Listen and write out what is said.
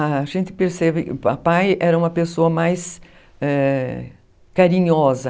A gente percebe que o papai era uma pessoa mais eh... carinhosa.